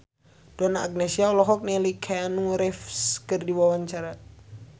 Donna Agnesia olohok ningali Keanu Reeves keur diwawancara